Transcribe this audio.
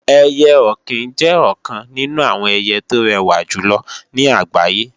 Ẹyẹ-ọ̀kín jẹ́ ọ̀kan nínú àwọn ẹyẹ tó rẹwà jùlọ ní àgbáyé